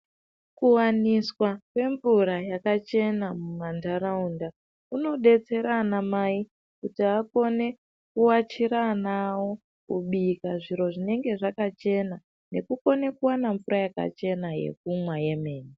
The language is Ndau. Kuvaniswa kwemvura yakachena mumantaraunda. Kunobetsera ana mai kuti akone kuachira ana avo kubika zviro zvinenge zvakachena nekukone kuvana mvura yakachena yekumwa yemene.